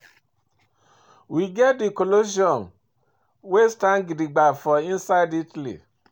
We get di Colosseum wey stand gidigba for inside Italy